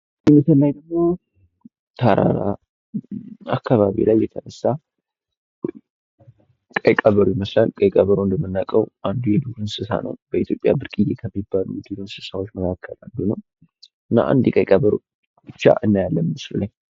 ተራራ አካባቢ ላይ የተነሳ ቀይ ቀበሮ ይመስላል። ቀይ ቀበሮ እንደምናውቀው አንዱ የዱር እንሰሳ ነው። በኢትዮጵያ በስቅዬ ከሚባሉ የዱር እንሰሳዎች መካከል አንዱ ነው። እና አንድ ቀይ ቀበሮ ብቻ እናያለን ምስሉ ላይ።